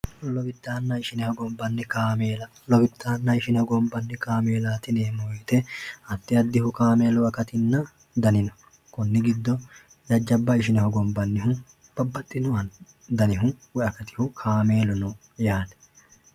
lowidanna ishine hongonbanni kameella lowidanna ishine hongonbanni kameellaat yineemotiaddi addihu kameelu akatina dani no konni giddo jajjabba ishine hogonbanniha babbadhino danihu woye akatihu kaamelu no yaate.